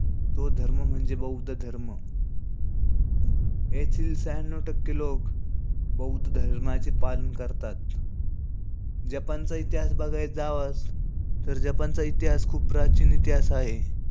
तो धर्म म्हणजे बौद्ध धर्म. येथील श्यांनु टक्के लोक बौद्ध धर्माचे पालन करतात. जपानचा इतिहास बघाय जावास, तर जपानचा इतिहास खूप प्राचीन इतिहास आहे.